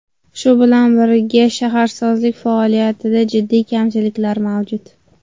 Shu bilan birga shaharsozlik faoliyatida jiddiy kamchiliklar mavjud.